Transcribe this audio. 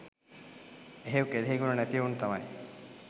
එහෙව් කෙලෙහිගුණ නැතිඑවුන් තමයි